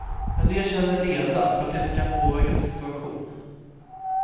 En del känner leda för att de inte kan påverka sin situation.